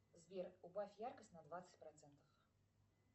сбер убавь яркость на двадцать процентов